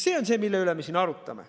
See on see, mille üle me siin arutame.